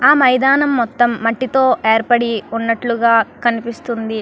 ఆ మైదనం మొత్తం మట్టి తోని ఏర్పడి వున్నటు గ కనిపిస్తునది.